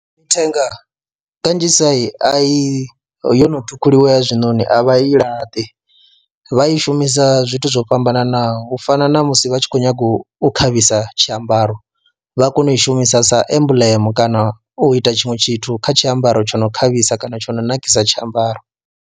Mithenga kanzhisa a i yo no ṱhukhuliwa ya zwinoni a vha i laṱi vha i shumisa zwithu zwo fhambananaho u fana na musi vha tshi khou nyaga u khavhisa tshiambaro vha kona u i shumisa sa emblem kana u ita tshiṅwe tshithu kha tshiambaro tsho no khavhisa kana tsho no nakisa tshiambaro.